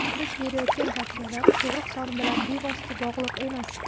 Biz berayotgan tavsiyalar tug‘ruq soni bilan bevosita bog‘liq emas.